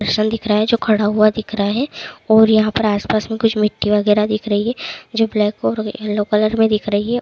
एक पर्सन दिख रहा है जो खड़ा हुआ दिख रहा हैं और यहां पर आस-पास में कुछ मिट्टी वगैरा दिख रही है जो ब्लैक और येलो कलर में दिख रही है।